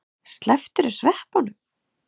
Slepptirðu sveppunum?